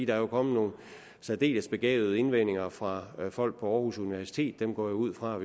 der er kommet nogle særdeles begavede indvendinger fra folk på aarhus universitet og jeg går ud fra